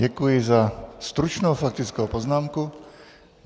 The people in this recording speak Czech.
Děkuji za stručnou faktickou poznámku.